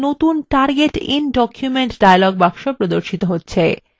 একটি নতুন target in document dialog box প্রদর্শিত হচ্ছে